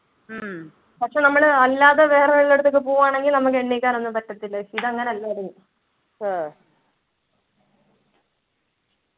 ഉം പക്ഷെ നമ്മള് അല്ലാതെ വേറെ എവിടേക്കൊക്കെ പോവ്വാണെങ്കിൽ നമ്മക്ക് എഴുന്നേൽക്കാൻ ഒന്നും പറ്റത്തില്ല ഇതങ്ങനെ അല്ലായിരുന്നു